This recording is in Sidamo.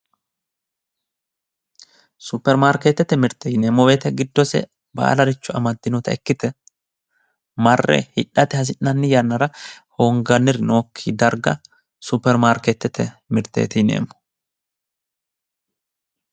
Suppermaarkeetete mirte yineemmo woyte giddose baalare amaddinota ikkite marre hidhate hasi'nonni yannara hoonganniri nookki darga suppermaarkeetete mirteeti yineemmo